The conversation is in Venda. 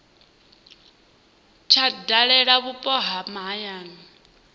tsha dalela vhupo ha mahayani